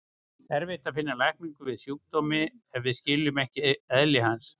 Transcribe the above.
Erfitt er að finna lækningu við sjúkdómi ef við skiljum ekki eðli hans.